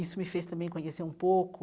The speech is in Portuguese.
Isso me fez também conhecer um pouco